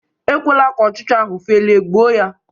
ekwela ka ọchcha ahụ felie, gbuo ya!